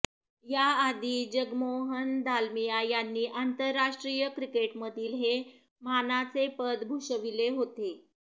याआधी जगमोहन दालमिया यांनी आंतरराष्ट्रीय क्रिकेटमधील हे मानाचे पद भूषविले होते